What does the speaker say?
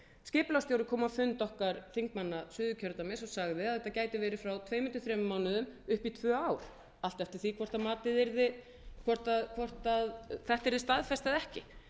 skipulagsstjóri kom á fund okkar þingmann suðurkjördæmis og sagði að þetta gæti verið frá tveimur til þremur mánuðum upp í tvö ár allt eftir því hvort matið yrði hvort þetta yrði staðfest eða ekki